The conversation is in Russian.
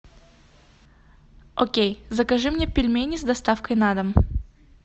окей закажи мне пельмени с доставкой на дом